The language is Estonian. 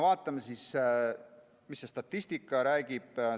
Vaatame, mis statistika räägib.